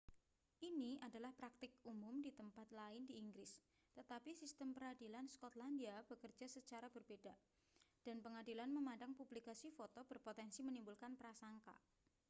ini adalah praktik umum di tempat lain di inggris tetapi sistem peradilan skotlandia bekerja secara berbeda dan pengadilan memandang publikasi foto berpotensi menimbulkan prasangka